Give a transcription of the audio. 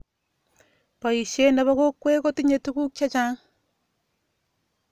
Boisie ne bo kokwee kotinye tukuk che chang.